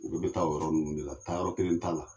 Olu be taa nin yɔrɔ ninnu de la taa yɔrɔ kelen t'a la